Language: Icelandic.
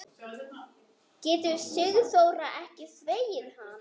Getur Sigþóra ekki þvegið hann?